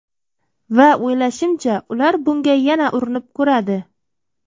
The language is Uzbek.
Va o‘ylashimcha, ular bunga yana urinib ko‘radi.